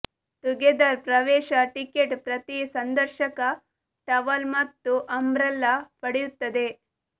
together ಪ್ರವೇಶ ticket ಪ್ರತಿ ಸಂದರ್ಶಕ ಟವಲ್ ಮತ್ತು ಅಂಬ್ರೆಲಾ ಪಡೆಯುತ್ತದೆ